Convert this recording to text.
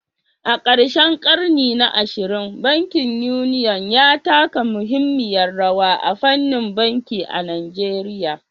A karshen ƙarni na 20, bankin Union ya taka muhimmiyar rawa a fannin banki a Najeriya